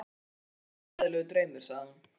Ó, hvað mér finnst þetta hræðilegur draumur, sagði hún